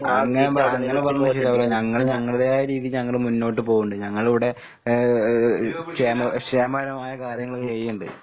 അങ്ങനെ പ അങ്ങനെ പറഞ്ഞകൊണ്ട് ശെരിയാവൂല്ല, ഞങ്ങള് ഞങ്ങള്തായ രീതിക്ക് ഞങ്ങള് മുന്നോട്ട് പോണ്ണ്ട്. ഞങ്ങളിവടെ ഏഹ് ഏഹ് കേമ ക്ഷേമകരമായ കാര്യങ്ങള് ചെയ്യ്ണ്ട്.